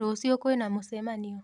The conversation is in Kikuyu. Rũciũ kwina mũcemanio.